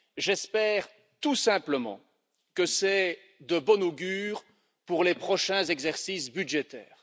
J'espère tout simplement que c'est de bonne augure pour les prochains exercices budgétaires.